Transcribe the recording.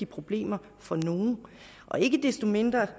problemer for nogle ikke desto mindre